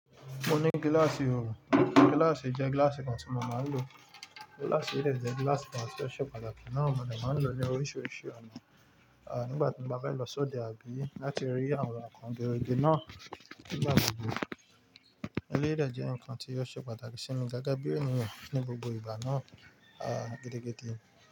Mo ní gíláàsì ooo, gíláàsì jẹ́ gíláàsì kan tí mo máa ń lò. Gíláàsì yìí dẹ́ jé gíláàsì kan tí ó ṣe pàtàkì náà, mo dè máa ń lò ní oríṣiríṣi ọ̀nà. À nígbà tí mo bá bá lọ sí òde àbí láti rí àwọn nǹkan gẹrígẹrí náà nígbà gbogbo. Eléyìí dé jẹ́ nǹkan tí ó ṣe pàtàkì sí mi, gẹ́gẹ́ bí ènìyàn ní gbogbo ìbà náà, a gẹ́dẹ́gẹ́dẹ́